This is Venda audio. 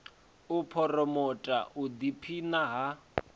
u phuromotha u ḓiphina ha